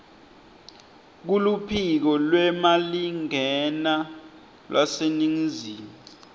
kuluphiko lwemalingena lwaseningizimu